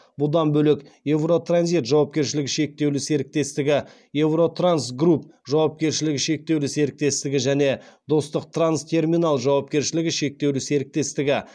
бұдан бөлек евротранзит жауапкершілігі шектеулі серіктестігі евротрансгрупп жауапкершілігі шектеулі серіктестігі және достықтранстерминал жауапкершілігі шектеулі серіктестігі